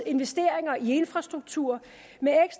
investeringer i infrastruktur